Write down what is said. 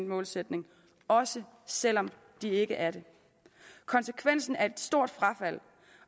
målsætning også selv om de ikke er det konsekvensen er et stort frafald